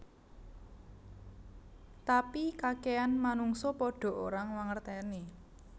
Tapi kakehan manungsa padha ora mangerteni